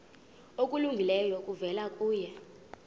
okulungileyo kuvela kuye